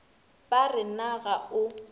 ba re na ga o